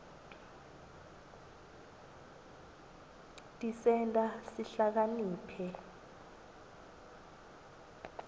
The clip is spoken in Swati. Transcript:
tisenta sihlakaniphe